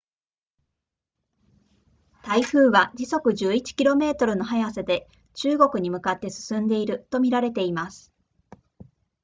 台風は時速11 km の速さで中国に向かって進んでいると見られています